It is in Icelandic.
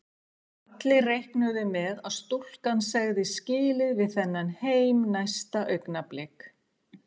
Allir reiknuðu með að stúlkan segði skilið við þennan heim næsta augnablik.